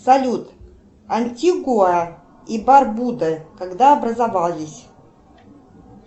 салют антигуа и барбуда когда образовались